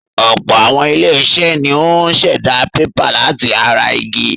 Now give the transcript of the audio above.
Ọ̀pọ̀ àwọn ilé-iṣẹ́ ni ó ń ṣẹ̀dá pépà láti ara igi.